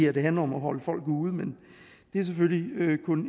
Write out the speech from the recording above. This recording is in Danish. at det handler om at holde folk ude men det er selvfølgelig kun